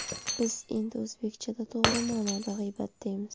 Biz endi o‘zbekchada, to‘g‘ri ma’noda ‘g‘iybat’ deymiz.